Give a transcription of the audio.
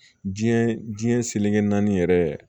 Diɲɛ diɲɛ seleke naani yɛrɛ